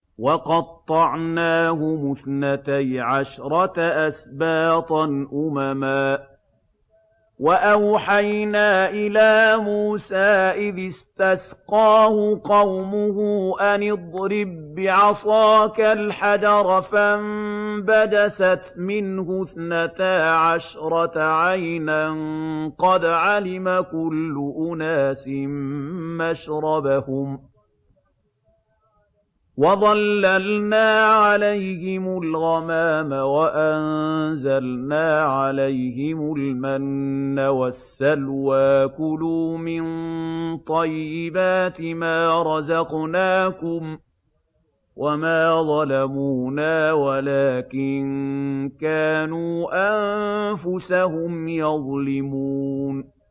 وَقَطَّعْنَاهُمُ اثْنَتَيْ عَشْرَةَ أَسْبَاطًا أُمَمًا ۚ وَأَوْحَيْنَا إِلَىٰ مُوسَىٰ إِذِ اسْتَسْقَاهُ قَوْمُهُ أَنِ اضْرِب بِّعَصَاكَ الْحَجَرَ ۖ فَانبَجَسَتْ مِنْهُ اثْنَتَا عَشْرَةَ عَيْنًا ۖ قَدْ عَلِمَ كُلُّ أُنَاسٍ مَّشْرَبَهُمْ ۚ وَظَلَّلْنَا عَلَيْهِمُ الْغَمَامَ وَأَنزَلْنَا عَلَيْهِمُ الْمَنَّ وَالسَّلْوَىٰ ۖ كُلُوا مِن طَيِّبَاتِ مَا رَزَقْنَاكُمْ ۚ وَمَا ظَلَمُونَا وَلَٰكِن كَانُوا أَنفُسَهُمْ يَظْلِمُونَ